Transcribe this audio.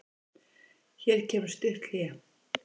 Hér kemur stutt hlé.